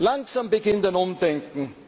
Langsam beginnt ein Umdenken.